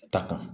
Ta kan